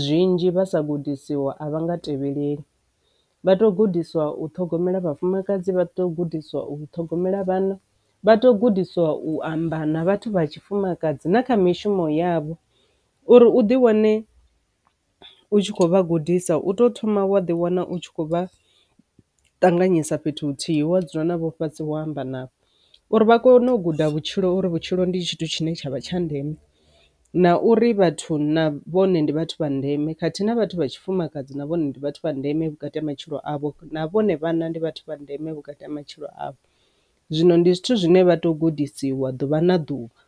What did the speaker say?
zwinzhi vha sa gudisiwa a vha nga tevhelelei. Vha tou gudiswa u ṱhogomela vhafumakadzi, vha tou gudiswa u ṱhogomela vhana, vha tou gudiswa u amba na vhathu vha tshifumakadzi na kha mishumo yavho. Uri u di wane u tshi khou vha gudisa u tou thoma wa ḓi wana u tshi khou vha ṱanganyisa fhethu huthihi wa dzula navho fhasi vho amba na uri vha kone u guda vhutshilo uri vhutshilo ndi tshithu tshine tshavha tsha ndeme. Na uri vhathu na vhone ndi vhathu vha ndeme khathihi na vhathu vha tshifumakadzi na vhone ndi vhathu vha ndeme vhukati ha matshilo avho, na vhone vhanna ndi vhathu vha ndeme vhukati ha matshilo avho zwino ndi zwithu zwine vha to gudisiwa ḓuvha na ḓuvha.